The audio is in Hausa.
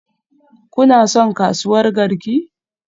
Kuna son kasuwar Garki?